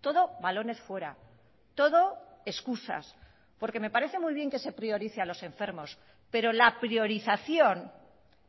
todo balones fuera todo excusas porque me parece muy bien que se priorice a los enfermos pero la priorización